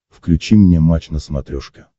включи мне матч на смотрешке